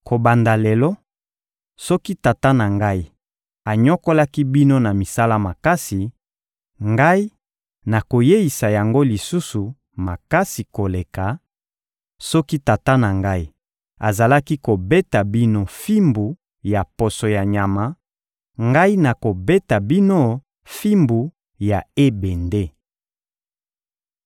Kobanda lelo, soki tata na ngai anyokolaki bino na misala makasi, ngai nakoyeisa yango lisusu makasi koleka; soki tata na ngai azalaki kobeta bino fimbu ya poso ya nyama, ngai nakobeta bino fimbu ya ebende.»